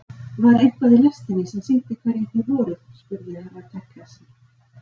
Var eitthvað í lestinni sem sýndi hverjir þið voruð spurði Herra Takashi.